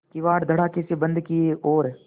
किवाड़ धड़ाकेसे बंद किये और